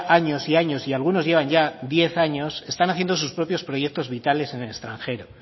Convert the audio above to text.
años y años y algunos llevan ya diez años están haciendo sus propios proyectos vitales en el extranjero